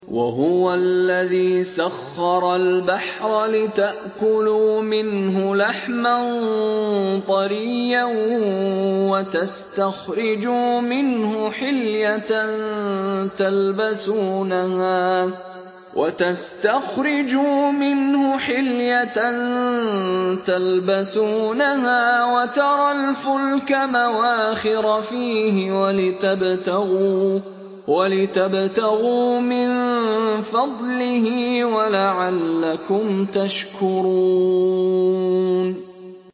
وَهُوَ الَّذِي سَخَّرَ الْبَحْرَ لِتَأْكُلُوا مِنْهُ لَحْمًا طَرِيًّا وَتَسْتَخْرِجُوا مِنْهُ حِلْيَةً تَلْبَسُونَهَا وَتَرَى الْفُلْكَ مَوَاخِرَ فِيهِ وَلِتَبْتَغُوا مِن فَضْلِهِ وَلَعَلَّكُمْ تَشْكُرُونَ